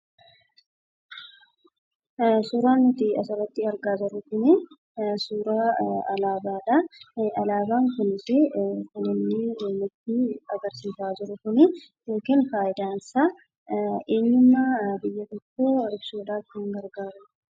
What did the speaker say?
Suuraan nuti asirratti argaa jirru kunii, suuraa alaabaadha. Alaabaan kunisi kan inni nutti agarsiisaa jiru kunii yookiin fayidaan isaa eenyummaa biyya tokkoo ibsuudhaaf kan gargaaruudha.